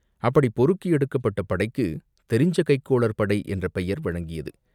அப்படிப் பொறுக்கி எடுக்கப்பட்ட படைக்குத் தெரிஞ்ச கைக்கோளர் படை என்ற பெயர் வழங்கியது.